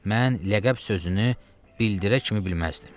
Mən ləqəb sözünü bildirə kimi bilməzdim.